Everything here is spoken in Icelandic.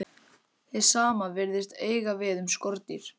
Hið sama virðist eiga við um skordýr.